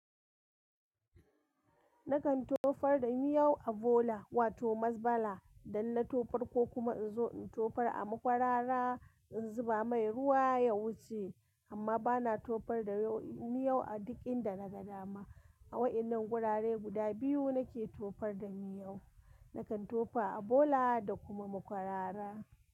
Nakan tofar da miyau a bola wato masbala, sannan na tofar ko kuma in zo in tofar a makwarara in zuba mai ruwa ya wuce, amma bana tofar da miyau a duk inda daga dama. A wa'innan wurare guda biyu nake tofar da miyau. Nakan tofa a bola da kuma makwarara.